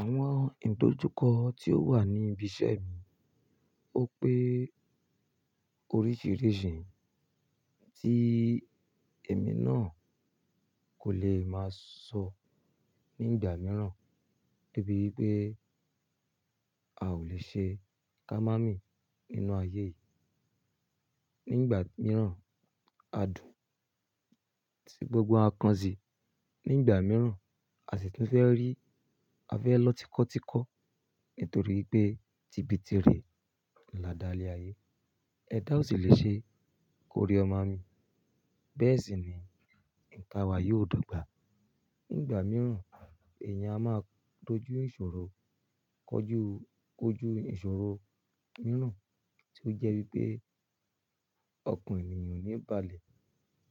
Àwọn ìdojúkọ tí ó wà ní ibi iṣẹ́ mi, ó pé oríṣìíríṣìí tí èmi náà kò lè máa sọ nígbà mìíràn, débi wípé a ò lè ṣe kámámí nínú ayé yìí. Nígbà mìíràn, a dùn tí gbogbo a kan si. Nígbà mìíràn, a sì ti fẹ́ rí, a fẹ́ lọ tikọ́tikọ́ nítorí pé ti ibi ti rè ni a dá lé ayé. Ẹ dáá ò sì lè ṣe kó rí o ma mi. Bẹ́ẹ̀ sì ni, ìka wa yi oò dàgbà. Nígbà mìíràn, èèyàn a máa dojú ìṣòro, kọ́ jú-kójú ìṣòro mìíràn tí ó jẹ́ wípé ọkàn ènìyàn níbalẹ̀,